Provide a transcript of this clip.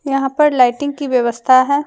यहां पर लाइटिंग की व्यवस्था है।